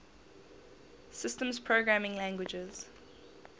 systems programming languages